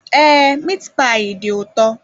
Ee miit paayi dị ụtọ